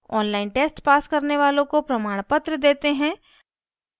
online test pass करने वालों को प्रमाणपत्र देते हैं